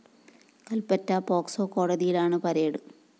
Kalpetta POCSO കോടതിയിലാണ് പരടെ